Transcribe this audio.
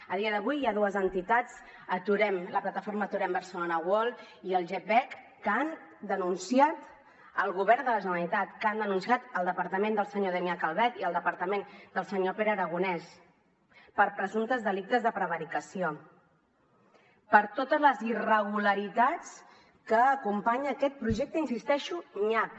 a dia d’avui hi ha dues entitats la plataforma aturem bcn world i el gepec que han denunciat el govern de la generalitat que han denunciat el departament del senyor damià calvet i el departament del senyor pere aragonès per presumptes delictes de prevaricació per totes les irregularitats que acompanyen aquest projecte hi insisteixo nyap